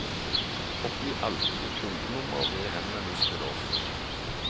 Oppgi alltid ditt kundenummer ved henvendelse til oss.